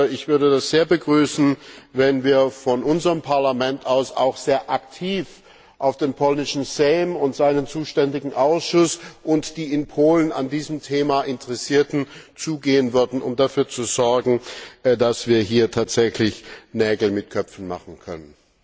Ich würde das sehr begrüßen, wenn unser Parlament auch sehr aktiv auf den polnischen Sejm und seinen zuständigen Ausschuss und die in Polen an diesem Thema Interessierten zugehen würde, um dafür zu sorgen, dass wir hier tatsächlich Nägel mit Köpfen machen können.